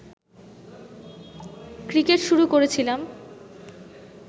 cricket শুরু করেছিলাম